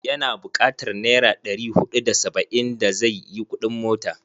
Ya na bukatar naira ɗri huɗu da saba'in da zai yi kuɗin mota.